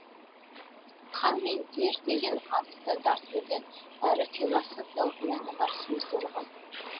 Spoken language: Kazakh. қан мен тер деген аты да тартымды әрі философиялық мәні бар сөздер ғой